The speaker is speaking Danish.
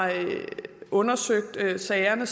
undersøgt sagerne